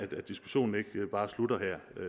diskussionen ikke bare slutter